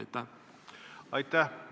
Aitäh!